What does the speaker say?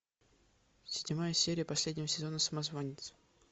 седьмая серия последнего сезона самозванец